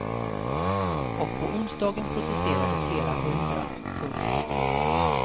Och på onsdagen protesterade flera hundra. punkt